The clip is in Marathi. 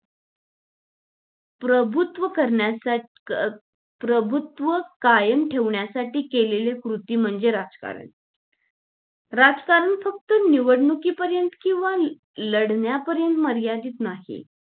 प्रभुत्व करण्या प्रभुत्व कायम ठेवण्यासाठी केलेली कृती म्हणजे राजकारण राजकारण फक्त निवडणुकी पर्यंत किंवा लढण्यापर्यंत मर्यादित नाही आहे